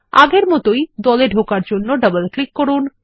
আগের মত দলে ঢোকার জন্য ডবল ক্লিক করুন